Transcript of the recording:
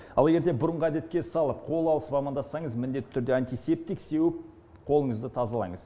ал егерде бұрынғы әдетке салып қол алысып амандассаңыз міндетті түрде антисептик сеуіп қолыңызды тазалаңыз